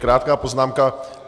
Krátká poznámka.